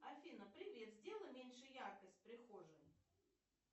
афина привет сделай меньше яркость в прихожей